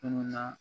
Munnu na